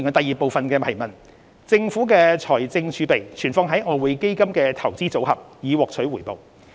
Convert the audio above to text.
二政府的財政儲備存放於外匯基金的"投資組合"，以獲取回報。